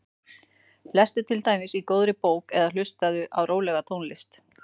Lestu til dæmis í góðri bók eða hlustaðu á rólega tónlist.